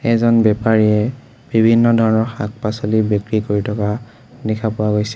এজন বেপাৰীয়ে বিভিন্ন ধৰণৰ শাক-পাছলি বিক্ৰী কৰি থকা দেখা পোৱা গৈছে।